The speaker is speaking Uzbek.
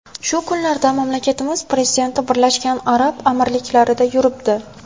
Shu kunlarda mamlakatimiz prezidenti Birlashgan Arab Amirliklarida yuribdi .